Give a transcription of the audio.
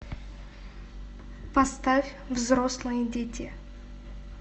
поставь взрослые дети